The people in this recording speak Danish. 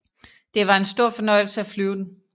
Det var en stor fornøjelse at flyve den